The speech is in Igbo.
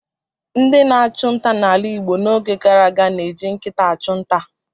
Ndị na-achụ nta n'ala Igbo n'oge gara aga na-eji nkịta achụ nta.